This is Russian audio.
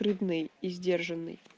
рыбный и сдержанный